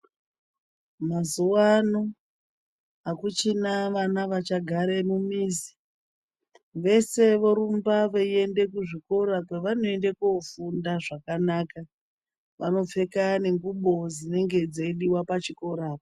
Mazuwaano, akuchina vana vachagare mumizi. Vese vorumba veiende kuzvikora kwevanoende kofunda zvakanaka. Vanopfeka nengubo dzinenge dzeidiwa pachikora.